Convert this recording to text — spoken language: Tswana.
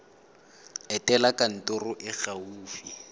etela kantoro e e gaufi